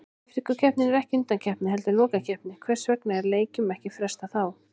Afríkukeppnin er ekki undankeppni heldur lokakeppni, hvers vegna er leikjum ekki frestað þá?